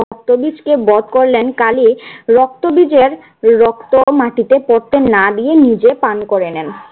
রক্তবীজকে বধ করলেন। কালি রক্তবীজের রক্ত মাটিতে পড়তে না দিয়ে নিজে পান করে নেন।